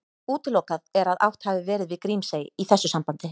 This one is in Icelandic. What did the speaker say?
Útilokað er að átt hafi verið við Grímsey í þessu sambandi.